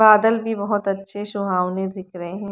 बादल भी बोहोत अच्छे सुहावने दिख रहे हैं।